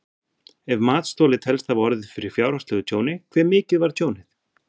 Ef matsþoli telst hafa orðið fyrir fjárhagslegu tjóni hve mikið var tjónið?